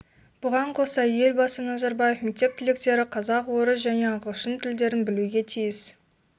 бұған қоса елбасы назарбаев мектеп түлектері қазақ орыс және ағылшын тілдерін білуге тиіс